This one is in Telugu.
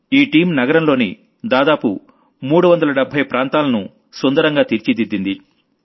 ఈ టీమ్ నగరంలోని దాదాపు 370 ప్రాంతాల్లో సుందరంగా తీర్చిదిద్దింది